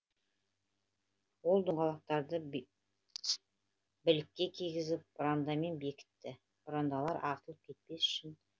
ол доңғалақтарды білікке кигізіп бұрандамен бекітті бұрандалар ағытылып кетпес үшін